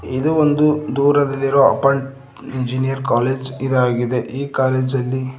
ಇದು ಒಂದು ದೂರದಲ್ಲಿರೋ ಅಪಾರ್ಟ್ ಇಂಜಿನಯರಿಂಗ್ ಕಾಲೇಜ್ ಇದಾಗಿದೆ ಈ ಕಾಲೇಜಲ್ಲಿ--